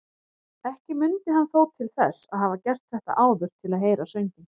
Ekki mundi hann þó til þess að hafa gert þetta áður til að heyra sönginn.